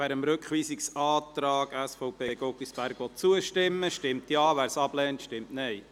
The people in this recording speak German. Wer dem Rückweisungsantrag SVP/Guggisberg zustimmen will, stimmt Ja, wer dies ablehnt, stimmt Nein.